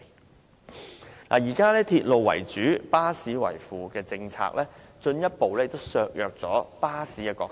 當局現時以鐵路為主，巴士為輔的政策，進一步削弱了巴士的角色。